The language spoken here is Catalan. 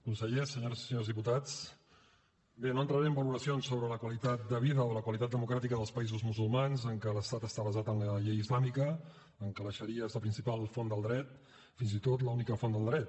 consellers senyores i senyors diputats bé no entraré en valoracions sobre la qualitat de vida o la qualitat democràtica dels països musulmans en què l’estat està basat en la llei islàmica en què la xaria és la principal font del dret fins i tot l’única font del dret